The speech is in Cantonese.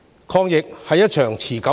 抗疫是一場持久戰。